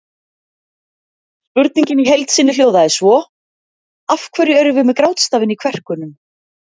Spurningin í heild sinni hljóðaði svo: Af hverju erum við með grátstafinn í kverkunum?